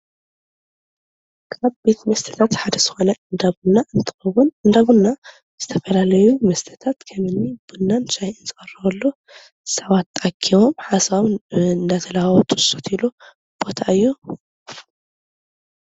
ካብ ቤት መስተታት ሓደ ዝኾነ እንዳ ቡና እንትኸውን እንዳ ቡና ዝተፈላለዩ መስተታት ከምኒ ቡናን ሻሂን ንቕርበሉ ሰባት ተኣኪቦም ሓሳቦም እንዳተላዋወጡ ዝሰትዩሉ ቦታ እዩ፡፡